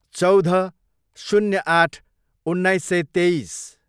चौध, शून्य आठ, उन्नाइस सय तेइस